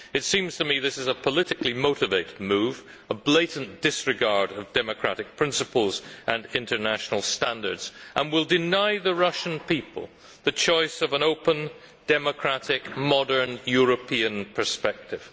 It seems to me that this is a politically motivated move and a blatant disregard of democratic principles and international standards which will deny the Russian people the choice of an open, democratic, modern European perspective.